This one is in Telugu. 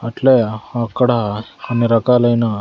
అట్లే అక్కడ అన్ని రకాలైన.